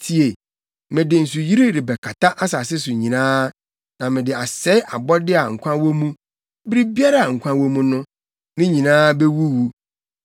Tie! Mede nsuyiri rebɛkata asase so nyinaa, na mede asɛe abɔde a nkwa wɔ mu; biribiara a nkwa wɔ mu no, ne nyinaa bewuwu.